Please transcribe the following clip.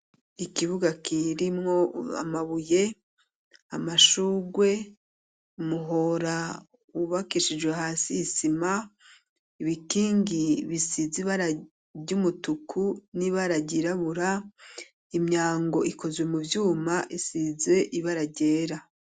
Ikibuga, kirimwo amabuye, amashurwe, umuhora wubakishijwe, hasi, isima, ibikingi bisizi ibara ry'umutuku, n'ibara ryirabura, imyango, ikozwe mu vyuma, isize ibara ryera.